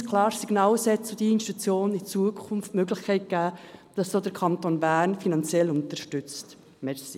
Wir senden ein klares Signal aus und wollen dieser Institution in Zukunft die Möglichkeit geben, dass sie durch den Kanton Bern finanziell unterstützt wird.